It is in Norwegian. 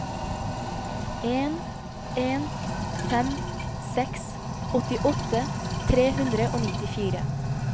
en en fem seks åttiåtte tre hundre og nittifire